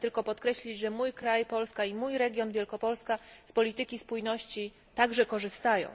Pragnę tylko podkreślić, że mój kraj Polska i mój region Wielkopolska z polityki spójności także korzystają.